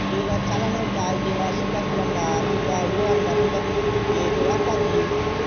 যে গুলু চালানো যায় যে হলো super spelonder কিনবা hero honda কিনবা এই তোর apache